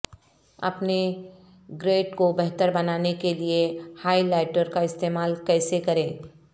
اپنے گرڈ کو بہتر بنانے کے لئے ہائی لائٹر کا استعمال کیسے کریں